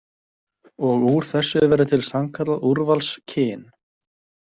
Og úr þessu verður til sannkallað úrvalskyn.